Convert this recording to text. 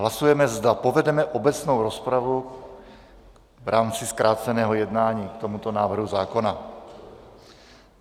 Hlasujeme, zda povedeme obecnou rozpravu v rámci zkráceného jednání k tomuto návrhu zákona.